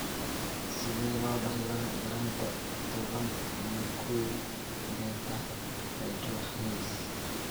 Sidee loo dhaxlaa yaraanta toban iyo kow beta hydroxylase?